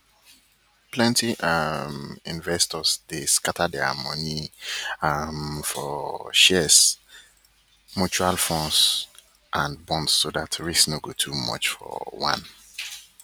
plenty um investors dey scatter dia moni um for shares mutual funds and bonds so dat risk no go too much for one